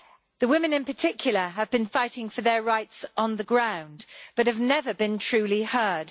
The women, in particular, have been fighting for their rights on the ground, but have never been truly heard.